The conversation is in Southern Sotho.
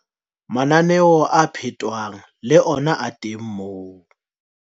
Mananeo a phetwang le ona a teng moo.